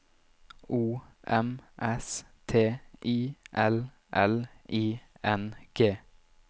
O M S T I L L I N G